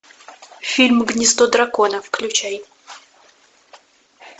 фильм гнездо дракона включай